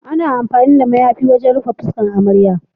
Ana amfani da mayafi wajen rufe fuskar amarya.